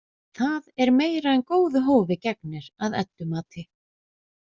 Það er meira en góðu hófi gegnir að Eddu mati.